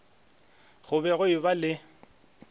go be go eba le